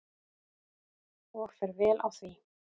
Og fer vel á því.